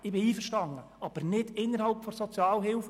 Ich bin damit einverstanden, aber nicht innerhalb der Sozialhilfe.